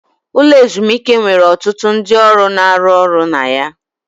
Ụlọ ezumike nwere ọtụtụ ndị ọrụ na-arụ ọrụ na ya.